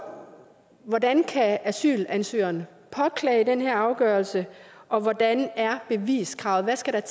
hvordan kan asylansøgeren påklage den her afgørelse og hvordan er beviskravet hvad skal